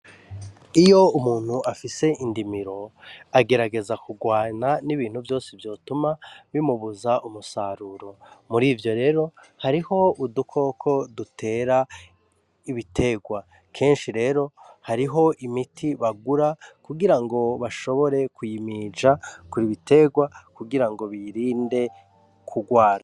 Iyo umuntu afise indimiro agerageza kurwana n'ibintu vyose vyotuma bimubuza umusaruro muri ivyo rero hariho udukoko dutera ibiterwa kenshi rero hariho imiti bagura kugira ngo bashobore kuyimija kuri ibiewa erwa kugira ngo birinde kurwara.